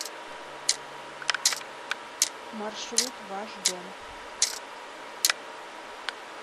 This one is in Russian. маршрут ваш дом